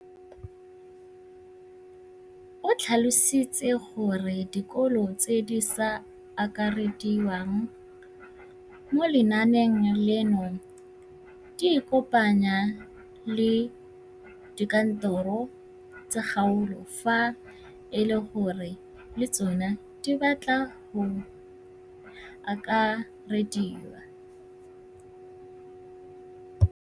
O tlhalositse gore dikolo tse di sa akarediwang mo lenaaneng leno di ikopanye le dikantoro tsa kgaolo fa e le gore le tsona di batla go akarediwa.